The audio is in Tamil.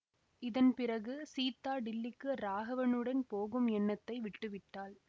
இதன் பிறகு சீதா டில்லிக்கு ராகவனுடன் போகும் எண்ணத்தை விட்டு விட்டாள்